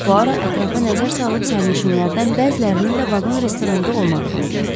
Puaro ətrafa nəzər salıb sərnişinlərdən bəzilərinin də vaqon restoranda olmadığını gördü.